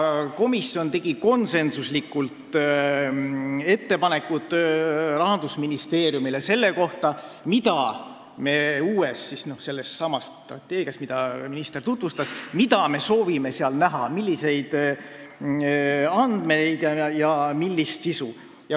Komisjon tegi konsensuslikult ettepanekud Rahandusministeeriumile, mida me uues strateegias – sellessamas, mida minister tutvustas – soovime näha, milliseid andmeid ja millist sisu.